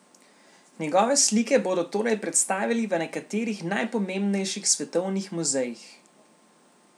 Njegove slike bodo torej predstavili v nekaterih najpomembnejših svetovnih muzejih.